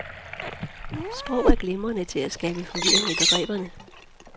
Sprog er glimrende til at skabe forvirring i begreberne.